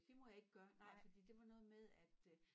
Det må jeg ikke gøre nej fordi det var noget med at øh